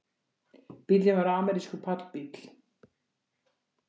Bíllinn var amerískur pallbíll